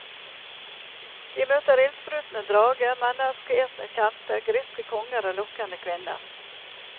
De møter ildsprutende drage, mennskeetende kjempe, griske konger og lokkende kvinner.